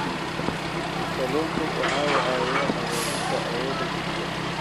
Kalluunku waxa uu caawiyaa hagaajinta awoodda jidhka.